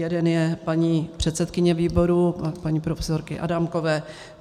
Jeden je paní předsedkyně výboru, paní profesorky Adámkové.